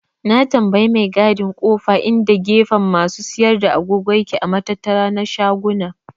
Na tambaye mai gadin kofa inda gefen masu siyar da agogo yake a matattara na shaguna.